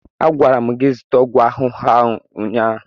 A gwara m gị zụta ọgwụ ahụhụ ahụ ụnyaahụ!